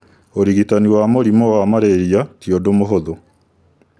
Ũrigitani wa mũrimũwa Mararia ti ũndũmũhũthũ